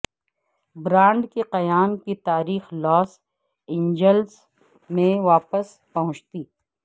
brand کے قیام کی تاریخ لاس اینجلس میں واپس پہنچتی